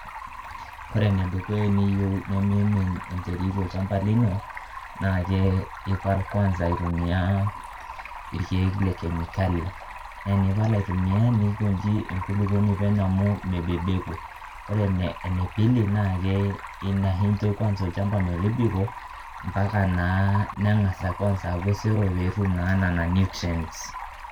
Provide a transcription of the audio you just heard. Kore ene dukuya eniyeu nemiimin enterit tolchamba lino naake ipal kwanza aitumia irkeek le kemi kali, nee enipal aitumia nikonji enkulukoni penyo amu mebebeku. Ore ene pii anashe injo olchamba metibiko mpaka naa ning'asa kwanza aaku osero netum naa nena nutrients.